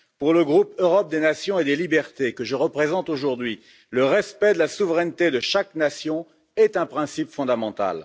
Pour le groupe Europe des nations et des libertés, que je représente aujourd'hui, le respect de la souveraineté de chaque nation est un principe fondamental.